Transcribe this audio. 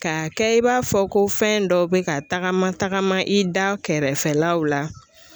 Ka kɛ i b'a fɔ ko fɛn dɔw bɛ ka tagama tagama i da kɛrɛfɛlaw la